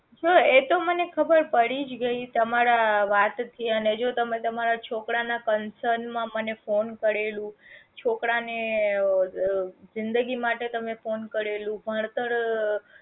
હ તો એતો મને ખબર પડી જ ગયી તમારા વાત થી અને જો તમે તમારા છોકરા ના concern માં phone કરેલું છોકરા ને ઓ જ જિંદગી માટે તમે ફોન કરેલું ભણતર